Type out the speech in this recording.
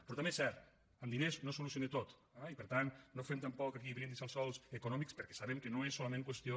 però també és cert amb diners no es soluciona tot eh i per tant no fem tampoc aquí brindis al sol econòmics perquè sabem que no és solament qüestió